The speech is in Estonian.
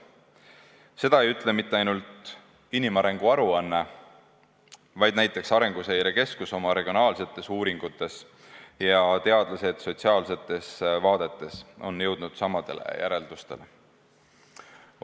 Seda ei ütle mitte ainult inimarengu aruanne, vaid ka näiteks Arenguseire Keskus oma regionaalsetes uuringutes, ja teadlased on sotsiaalsetes vaadetes jõudnud samadele järeldustele.